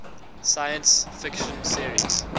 science fiction series